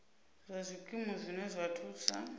nga zwikimu zwine zwa thusa